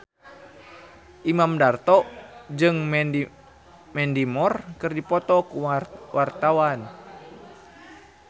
Imam Darto jeung Mandy Moore keur dipoto ku wartawan